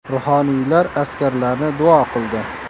Ruhoniylar askarlarni duo qildi.